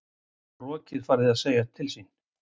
Rokið farið að segja til sín